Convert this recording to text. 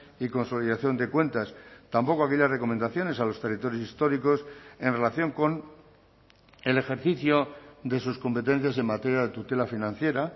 y consolidación de cuentas tampoco aquellas recomendaciones a los territorios históricos en relación con el ejercicio de sus competencias en materia de tutela financiera